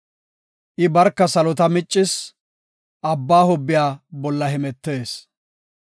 I barka salota miccis; abba hobbiya bolla hemetees.